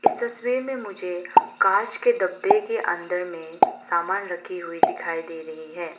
इस तस्वीर में मुझे कांच के डब्बे के अंदर में समान रखी हुई दिखाई दे रही है।